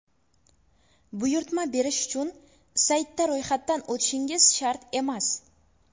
Buyurtma berish uchun saytda ro‘yxatdan o‘tishingiz shart emas.